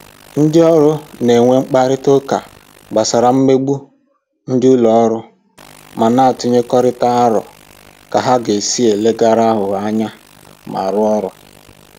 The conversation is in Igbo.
Ndị ọrụ na-enwe mkparịta ụka gbasara mmegbu dị n'ụlọ ọrụ ma na-atụnyekọrịta aro ka ha ga-esi leghara aghụghọ anya ma rụọ ọrụ